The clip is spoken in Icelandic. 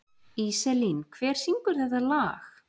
Íselín, hver syngur þetta lag?